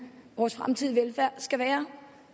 vores fremtidige velfærd skal være